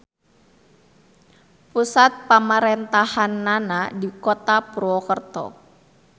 Pusat pamarentahannana di Kota Purwokerto.